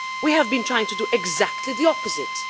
we have been trying to do exactly the opposite.